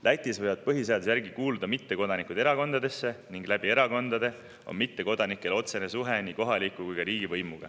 Lätis võivad põhiseaduse järgi kuuluda mittekodanikud erakondadesse ning erakondade kaudu on mittekodanikel otsene suhe nii kohaliku kui ka riigivõimuga.